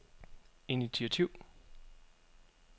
initiativ